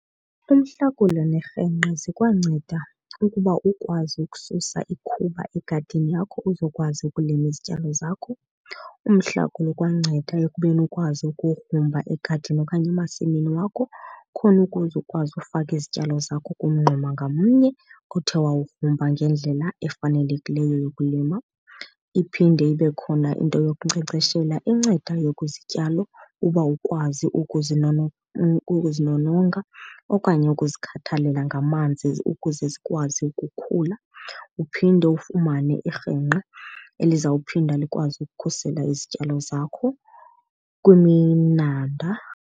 Umhlakulo nerhenqe zikwanceda ukuba ukwazi ukususa ikhula egadini yakho uzokwazi ukulima izityalo zakho. Umhlakulo ukwanceda ekubeni ukwazi ukugrumba egadini okanye emasimini wakho khona ukuze ukwazi ufaka izityalo zakho kumngxuma ngamnye othe wawugrumba ngendlela efanelekileyo yokulima. Iphinde ibe khona into yokunkcenkceshela encedayo kwizityalo uba ukwazi ukuzinononga okanye ukuzikhathalela ngamanzi ukuze zikwazi ukukhula. Uphinde ufumane irhengqe elizawuphinda likwazi ukukhusela izityalo zakho kwiminanda.